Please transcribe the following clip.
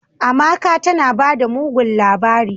"Amaka tanabada mugun labari."